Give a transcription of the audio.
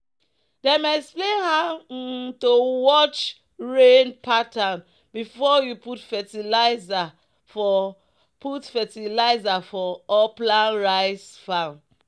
"dem explain how um to watch rain pattern before you put fertilizer for put fertilizer for upland rice farm."